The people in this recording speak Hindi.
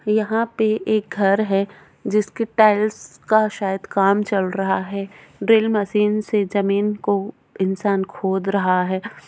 यहाँ पे एक घर है जिसके टाइल्स का शायद काम चल रहा है ड्रिल मशीन से ज़मीन को इंसान खोद रहा है।